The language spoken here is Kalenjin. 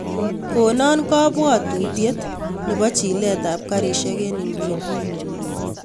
Konon kabwatutiet nebo chilet ab karishek en inguni